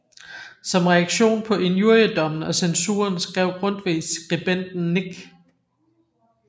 Som reaktion på injuriedommen og censuren skrev Grundtvig Skribenten Nik